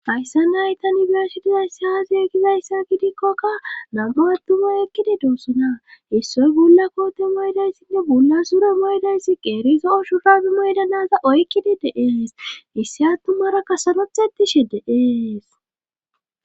hayssan hay tani be7ashe dizayssi aaze gizayssa gidikkokka nam7ua attumay eqqide doossona issoy bulla koote maydayssinne bolla sure maydayssi qeeriza zo7o shurabe mayida na7aza oykkidi de7ees issi attumaraka sarothettishe de7ees.